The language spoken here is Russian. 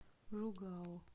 жугао